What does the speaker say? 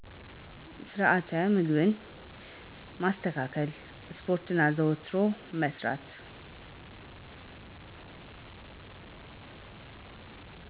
ስርዐት ምግብ ማስተካከል ስፖርት አዘዉትሮ መስራት